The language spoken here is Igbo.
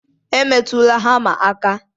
Emetụla hama aka!